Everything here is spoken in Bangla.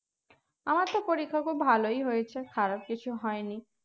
আমার সব পরীক্ষা খুব ভালোই হয়েছে খারাপ কিছু হয়নি